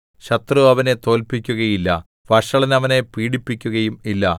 ശത്രു അവനെ തോല്പിക്കുകയില്ല വഷളൻ അവനെ പീഡിപ്പിക്കുകയും ഇല്ല